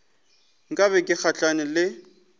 nka be ke gahlane le